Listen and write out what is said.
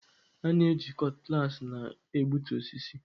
A na-eji Cutlass na-egbutu osisi.